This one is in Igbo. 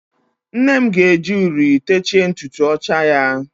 Nnem ga-eji uri techie ntutu ọcha ya.